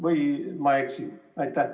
Või ma eksin?